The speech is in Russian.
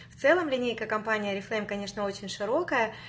в целом линейка компания орифлейм конечно очень широкая